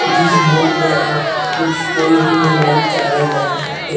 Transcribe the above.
जिस बोर्ड में आप कुछ कोई भी मोबाइल चारज लगा सकते हैं।